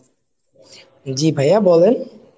জি ভাইয়া বলেন।